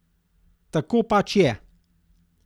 Tako pač to je.